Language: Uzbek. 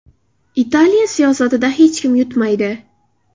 Italiya siyosatida hech kim yutmaydi.